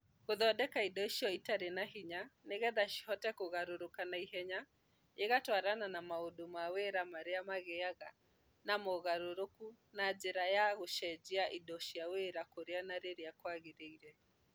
Gũthondeka indo icio itarĩ na hinya nĩgetha cihote kũgarũrũka na ihenya igatwarana na maũndũ ma wĩra marĩa magĩaga na mogarũrũku na njĩra ya gũcenjia indo cia wĩra kũrĩa na rĩrĩa kwagĩrĩire.